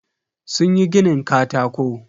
Sunyi ginin katako.